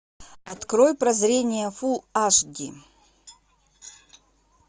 открой прозрение фулл аш ди